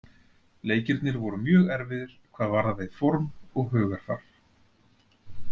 Leikirnir voru mjög erfiðir hvað varðaði form og hugarfar.